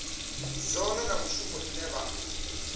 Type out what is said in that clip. zwone na mishumo ine vha